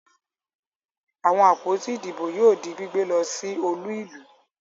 Àwọn àpótí ìbò yóò di gbígbé lọ sí olú-ìlú.